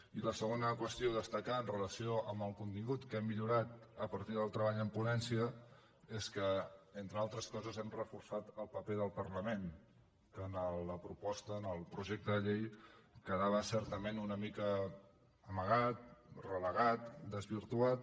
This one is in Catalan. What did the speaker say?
i la segona qüestió a destacar amb relació al contingut que hem millorat a partir del treball en ponència és que entre altres coses hem reforçat el paper del parlament que en la proposta en el projecte de llei quedava certament una mica amagat relegat desvirtuat